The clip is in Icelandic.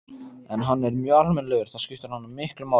En hann er mjög almennilegur, það skiptir hana miklu máli.